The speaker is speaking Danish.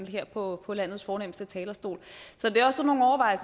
her på landets fornemste talerstol